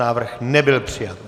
Návrh nebyl přijat.